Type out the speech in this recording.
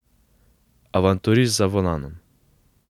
Avanturist za volanom.